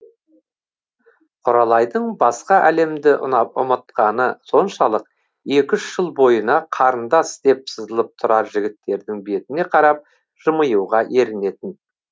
құралайдың басқа әлемді ұмытқаны соншалық екі үш жыл бойына қарындас деп сызылып тұрар жігіттердің бетіне қарап жымиюға ерінетін